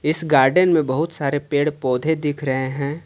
इस गार्डेन में बहुत सारे पेड़ पौधे दिख रहे है।